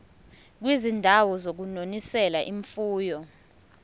kwizindawo zokunonisela imfuyo